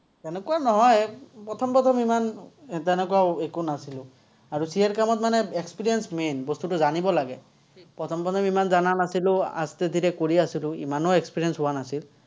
তেনেকুৱা নহয়, প্ৰথম প্ৰথম ইমান তেনেকুৱা একো নাছিলো। আৰু CA ৰ কামত মানে experience main, বস্তুটো জানিব লাগে। প্ৰথম প্ৰথম ইমান জনা নাছিলো, কৰি আছিলো। ইমানো experience হোৱা নাছিল।